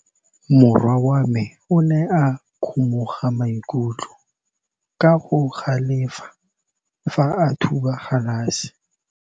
Morwa wa me o ne a kgomoga maikutlo ka go galefa fa a thuba galase.